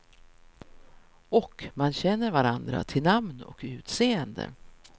Och man känner varandra till namn och utseende.